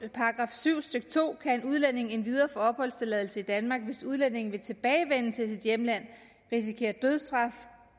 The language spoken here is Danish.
syv stykke to kan en udlænding endvidere få opholdstilladelse i danmark hvis udlændingen ved tilbagevendelse til sit hjemland risikerer dødsstraf